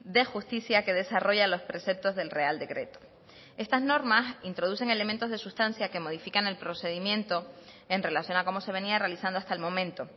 de justicia que desarrolla los preceptos del real decreto estas normas introducen elementos de sustancia que modifican el procedimiento en relación a cómo se venía realizando hasta el momento